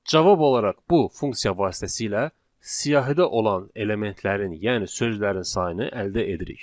Cavab olaraq bu funksiya vasitəsilə siyahıda olan elementlərin, yəni sözlərin sayını əldə edirik.